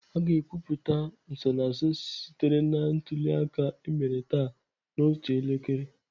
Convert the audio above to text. A ga-ekwupụta nsonaazụ sitere na ntuli aka emere taa n'otu elekere.